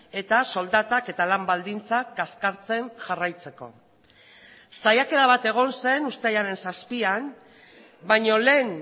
eta soldatak eta lan baldintzak kaskartzen jarraitzeko saiakera bat egon zen uztailaren zazpian baino lehen